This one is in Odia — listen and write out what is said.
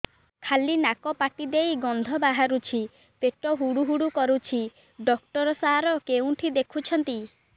ଖାଲି ନାକ ପାଟି ଦେଇ ଗଂଧ ବାହାରୁଛି ପେଟ ହୁଡ଼ୁ ହୁଡ଼ୁ କରୁଛି ଡକ୍ଟର ସାର କେଉଁଠି ଦେଖୁଛନ୍ତ